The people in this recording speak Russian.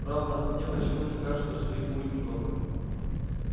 правда мне почему-то кажется что их будет немного